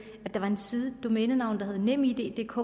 at der var en side et domænenavn der hed nemiddk